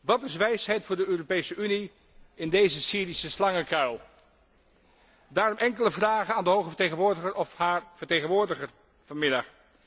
Wat is wijsheid voor de Europese Unie in deze Syrische slangenkuil? Daarom enkele vragen aan de Hoge Vertegenwoordiger of haar vertegenwoordiger vanmiddag.